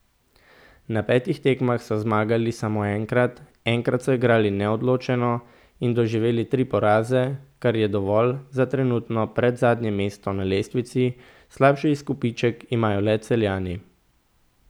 Na petih tekmah so zmagali samo enkrat, enkrat so igrali neodločeno in doživeli tri poraze, kar je dovolj za trenutno predzadnje mesto na lestvici, slabši izkupiček imajo le Celjani.